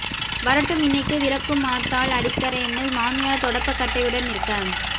வரட்டும் இன்னிக்கு விலக்குமாத்தால் அடிக்கறேன்னு மாமியார் தொடப்பக் கட்டையுடன் நிற்க